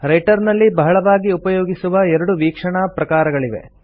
writer ನಲ್ಲಿ ಬಹಳವಾಗಿ ಉಪಯೋಗಿಸುವ ಎರಡು ವೀಕ್ಷಣಾ ಪ್ರಕಾರಗಳಿವೆ